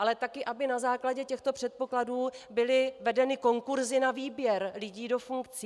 Ale taky aby na základě těchto předpokladů byly vedeny konkursy na výběr lidí do funkcí.